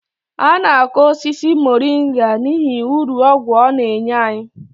A na-akọ osisi moringa n'ihi uru ọgwụ ọ na-enye anyi